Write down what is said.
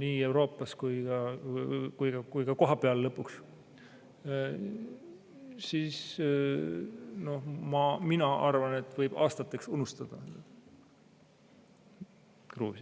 nii Euroopas kui ka kohapeal, siis mina arvan, et võib aastateks unustada Gruusia.